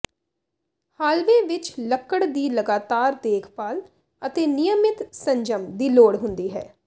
hallway ਵਿੱਚ ਲੱਕੜ ਦੀ ਲਗਾਤਾਰ ਦੇਖਭਾਲ ਅਤੇ ਨਿਯਮਿਤ ਸੰਜਮ ਦੀ ਲੋੜ ਹੁੰਦੀ ਹੈ